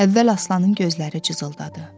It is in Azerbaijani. Əvvəl Aslanın gözləri cızıldadı.